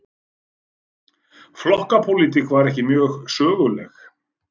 Flokkapólitík var ekki mjög söguleg.